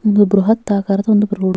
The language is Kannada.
ಒಂದು ಬ್ರಹತ್ ಆಕಾರದ ಒಂದು ರೋಡ್ --